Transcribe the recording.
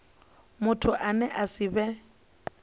muthu ane a si vhe